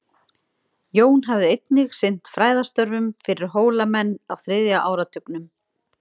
Jón hafði einnig sinnt fræðastörfum fyrir Hólamenn á þriðja áratugnum.